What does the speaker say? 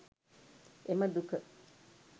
එම දුක